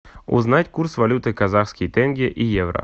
узнать курс валюты казахский тенге и евро